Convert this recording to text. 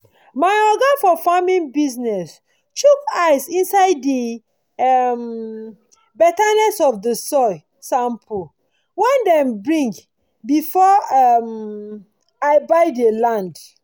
my oga for farming business chook eye inside de um betterness of de soil sample wen dem bring before um i buy dey land